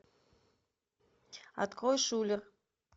открой шулер